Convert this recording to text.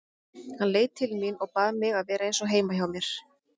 Hann leit til mín og bað mig að vera eins og heima hjá mér.